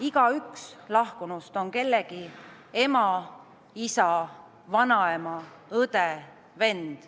Igaüks lahkunuist on kellegi ema, isa, vanaema, õde, vend.